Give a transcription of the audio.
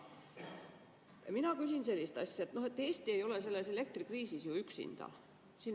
Mina küsin sellist asja, et Eesti ei ole selles elektrikriisis ju üksinda.